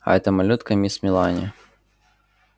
а эта малютка мисс мелани